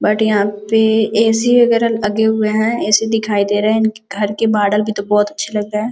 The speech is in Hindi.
बट यहाँ पे ऐ.सी वगेरा लगे हुए है। ऐ.सी दिखाई दे रहे है। इनके घर के भी तो बोहोत अच्छे लग रहे है।